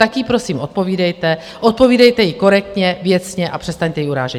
Tak jí prosím odpovídejte, odpovídejte jí korektně, věcně a přestaňte ji urážet.